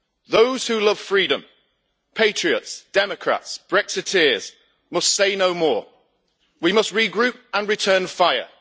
Those who love freedom patriots, Democrats, Brexiteers, must say no more. We must regroup and return fire.